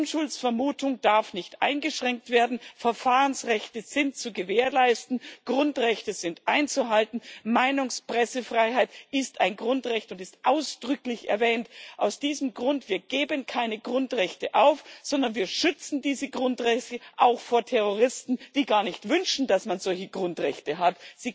Die Unschuldsvermutung darf nicht eingeschränkt werden, Verfahrensrechte sind zu gewährleisten, Grundrechte sind einzuhalten, Meinungs und Pressefreiheit ist ein Grundrecht und ist ausdrücklich erwähnt. Aus diesem Grund Wir geben keine Grundrechte auf, sondern wir schützen diese Grundrechte auch vor Terroristen, die gar nicht wünschen, dass man solche Grundrechte hat.